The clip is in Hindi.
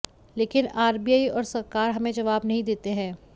लेकिन आरबीआई और सरकार हमें जवाब नहीं देते हैं